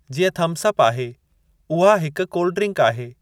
जीअं थम्सअप आहे, उहा हिक कोल्ड ड्रिंक आहे।